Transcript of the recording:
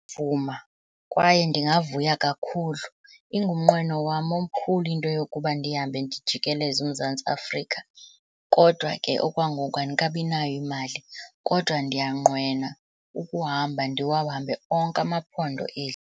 kwaye ndingavuya kakhulu, ingumnqweno wam omkhulu into yokuba ndihambe ndijikeleze uMzantsi Afrika. Kodwa ke okwangoku andikabinayo imali, kodwa ndiyanqwena ukuhamba ndiwahambe onke amaphondo eli.